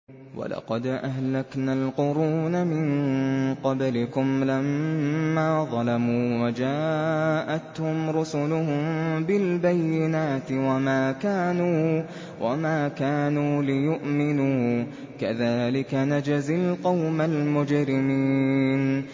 وَلَقَدْ أَهْلَكْنَا الْقُرُونَ مِن قَبْلِكُمْ لَمَّا ظَلَمُوا ۙ وَجَاءَتْهُمْ رُسُلُهُم بِالْبَيِّنَاتِ وَمَا كَانُوا لِيُؤْمِنُوا ۚ كَذَٰلِكَ نَجْزِي الْقَوْمَ الْمُجْرِمِينَ